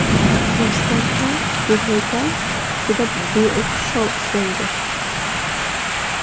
Rostdan ham bu haykal juda beo‘xshov ishlangan.